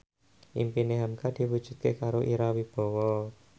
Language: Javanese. impine hamka diwujudke karo Ira Wibowo